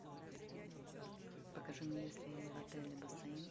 покажи мне есть ли в отеле бассейн